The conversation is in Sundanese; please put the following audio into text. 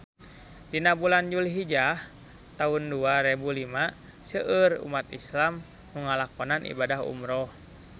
Dina bulan Julhijah taun dua rebu lima seueur umat islam nu ngalakonan ibadah umrah